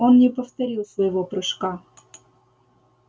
он не повторил своего прыжка